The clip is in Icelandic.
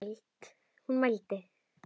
Hún mælti: